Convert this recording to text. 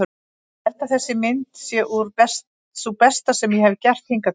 Ég held að þessi mynd sé sú besta sem ég hefi gert hingað til.